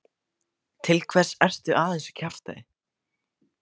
Til hvers ertu að þessu kjaftæði?